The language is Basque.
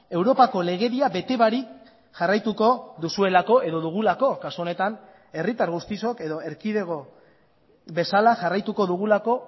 europako legedia bete barik jarraituko duzuelako edo dugulako kasu honetan herritar guztiok edo erkidego bezala jarraituko dugulako